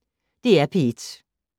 DR P1